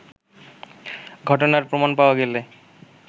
ঘটনার প্রমাণ পাওয়া গেলে